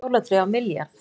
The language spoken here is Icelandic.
Jólatré á milljarð